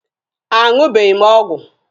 A ṅụbeghị m ọgwụ.